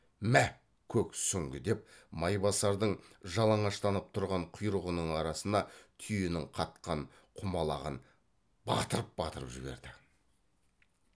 мә көк сүңгі деп майбасардың жалаңаштанып тұрған құйрығының арасына түйенің қатқан құмалағын батырып батырып жіберді